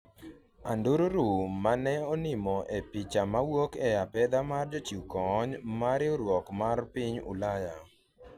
andururu mane onimo e picha mowuok e apedha mar jochiw kony' ma riwruok mar Piny Ulaya